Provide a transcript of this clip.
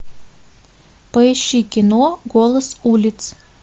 поищи кино голос улиц